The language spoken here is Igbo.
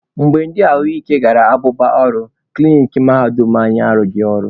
Mgbe ndi ahụ ike gara abụba ọrụ, klinik mahadum anyị arụghị ọrụ.